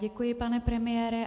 Děkuji, pane premiére.